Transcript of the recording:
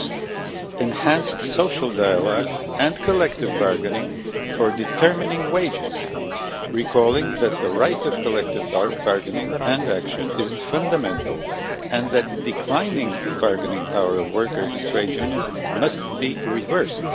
First, enhanced social dialogue and collective bargaining for determining wages, recalling the fact that the right of collective bargaining and action is fundamental and that the decline in the bargaining power of workers and trade unions must be reversed.